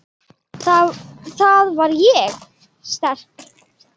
Þar var ég sterk.